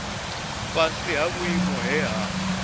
fhasi ha vhuimo he ha